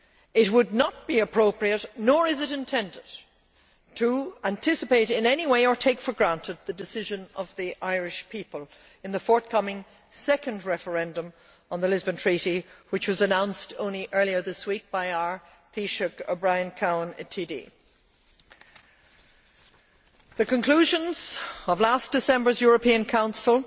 It would not be appropriate, nor is it intended to anticipate in any way or take for granted the decision of the Irish people in the forthcoming second referendum on the Lisbon Treaty, which was announced only earlier this week by our Taoiseach Brian Cowan TD. The conclusions of last December's European Council